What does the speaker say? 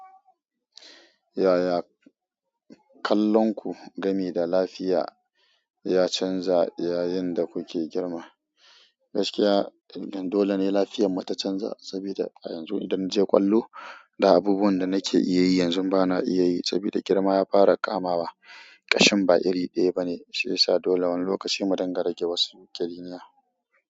Yaya kallonku game da lafiya ya canza yayin da kuke girma? Gaskiya, don dole ne lafiyar mu ta canza saboda a yanzu idan na je ƙwallo. Da abubuwan da nake iya yi yanzu bana iya yi saboda girma ya fara kama wa. Ƙashin ba iri ɗaya bane shiyasa dole wani lokaci mu dinga rage wasu kiriniya.